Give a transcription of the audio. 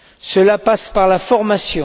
Cela passe par la formation.